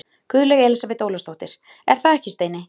Guðlaug Elísabet Ólafsdóttir: Er það ekki, Steini?